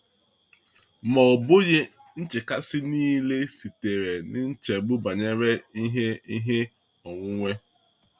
Ma ọ bụghị nchekasị niile sitere n’ichegbu banyere ihe ihe onwunwe.